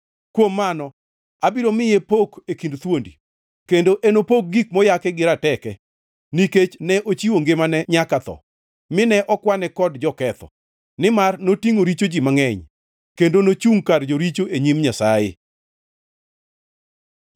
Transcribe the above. Kuom mano abiro miye pok e kind thuondi kendo enopog gik moyaki gi rateke, nikech ne ochiwo ngimane nyaka tho mine okwane kod joketho. Nimar notingʼo richo ji mangʼeny kendo nochungʼ kar joricho e nyim Nyasaye.